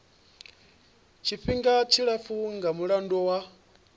tshifhinga tshilapfu nga mulandu wa